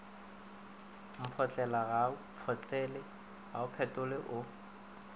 mphotlela ga o mphetole o